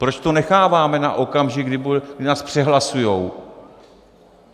Proč to necháváme na okamžik, kdy nás přehlasují?